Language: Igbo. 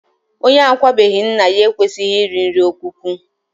Onye akwabeghi nna ya ekwesịghị iri nri ọkwụkwụ